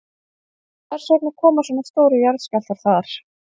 Hvers vegna koma svona stórir jarðskjálftar þar?